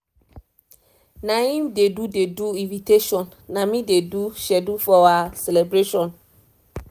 naim dey do dey do invitation na me dey do schedule for our celebration